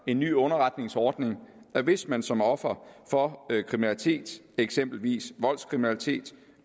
en ny underretningsordning hvis man som offer for kriminalitet eksempelvis voldskriminalitet